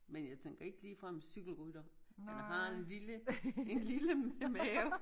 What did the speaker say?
Men jeg tænker ikke ligefrem cykelrytter han har en lille en lille mave